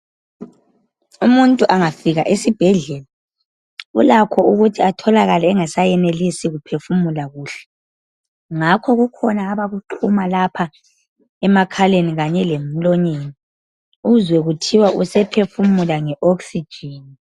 Umuntu angafika esibhedlela ulakho ukuthi atholakale engasayenelisi ukuphefumula kuhle ngakho kukhona abakuxhuma lapha emakhaleni lemlonyeni uzwe kuthiwa usephufumula nge okhsijini.